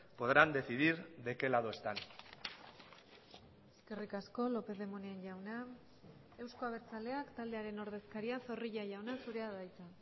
podrán decidir de qué lado están eskerrik asko lopez de munain jauna euzko abertzaleak taldearen ordezkaria zorrilla jauna zurea da hitza